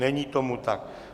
Není tomu tak.